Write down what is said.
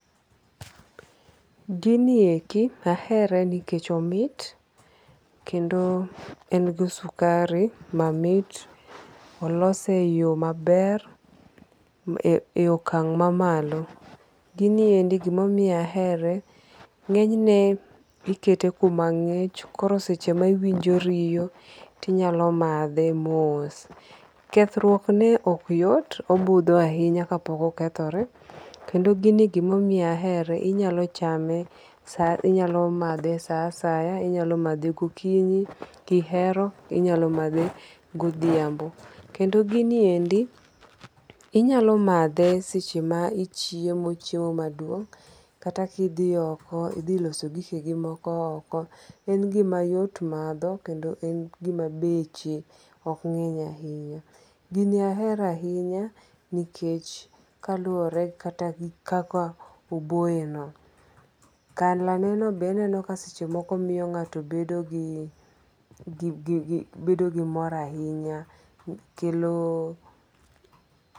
Gini eki ahere nikech omit kendo en gi sukari mamit. Olose e yo maber e e okang' mamalo. Giniendi gimomiyo ahere, ng'eny ne ikete kuma ng’ich koro seche ma iwinjo riyo to inyalo madhe mos. Kethruok ne ok yot, obudho ahinya ka pok okethore. Kendo gini gimomiyo ahere, inyalo chame inyalo madhe sa asaya. Inyalo madhe gokinyi kihero. Inyalo madhe godhiambo. Kendo gini endi inyalo madhe seche ma ichiemo chiemo maduong'. Kata ki dhi oko idhi loso gike gi moko oko. En gima yot madho kendo en gima beche ok ng'eny ahinya. Gini ahero ahinya nikech kaluore kata gi kaka oboye no. Color ne no be aneno ka seche moko miyo ng'ato bedo gi gi gi gi bedo gi mor ahinya kelo.